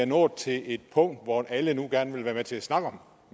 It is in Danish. nået til et punkt hvor alle gerne vil være med til at snakke om